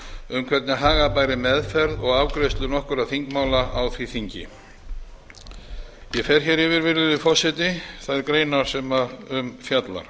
um hvernig haga bæri meðferð og afgreiðslu nokkurra þingmála á því þingi ég fer yfir þær greinar sem um fjalla